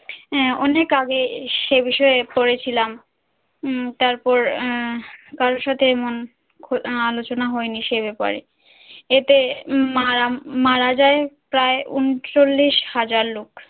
আন অনেক আগে এ সে বিষয়ে পড়েছিলাম উম তারপর আহ কারোর সাথে এমন খ আলোচনা হয়নি সে বাপারে এতে মালা মারা যায় প্রায় ঊনচল্লিশ হাজার লোক